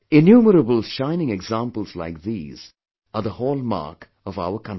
Innumerable shining examples like these are the hallmark of our country